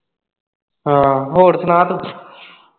ਹਾਂ ਹੋਰ ਸੁਣਾ ਤੂੰ।